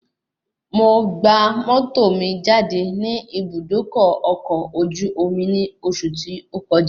Mo gba mọ́tò mi jáde ní Ibùdókọ̀ ọkọ̀ ojú omi ní oṣù tí ó kọjá